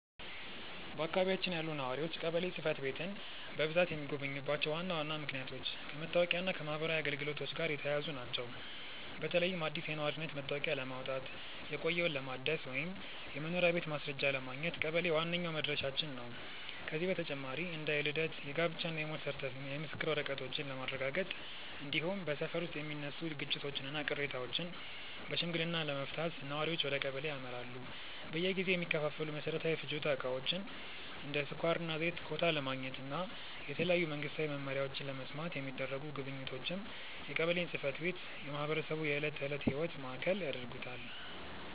በአካባቢያችን ያሉ ነዋሪዎች ቀበሌ ጽሕፈት ቤትን በብዛት የሚጎበኙባቸው ዋና ዋና ምክንያቶች ከመታወቂያና ከማኅበራዊ አገልግሎቶች ጋር የተያያዙ ናቸው። በተለይም አዲስ የነዋሪነት መታወቂያ ለማውጣት፣ የቆየውን ለማደስ ወይም የመኖሪያ ቤት ማስረጃ ለማግኘት ቀበሌ ዋነኛው መድረሻችን ነው። ከዚህ በተጨማሪ እንደ የልደት፣ የጋብቻና የሞት የምስክር ወረቀቶችን ለማረጋገጥ፣ እንዲሁም በሰፈር ውስጥ የሚነሱ ግጭቶችንና ቅሬታዎችን በሽምግልና ለመፍታት ነዋሪዎች ወደ ቀበሌ ያመራሉ። በየጊዜው የሚከፋፈሉ መሠረታዊ የፍጆታ ዕቃዎችን (እንደ ስኳርና ዘይት) ኮታ ለማግኘትና የተለያዩ መንግስታዊ መመሪያዎችን ለመስማት የሚደረጉ ጉብኝቶችም የቀበሌን ጽሕፈት ቤት የማኅበረሰቡ የዕለት ተዕለት ሕይወት ማዕከል ያደርጉታል።